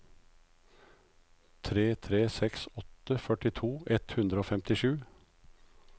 tre tre seks åtte førtito ett hundre og femtisju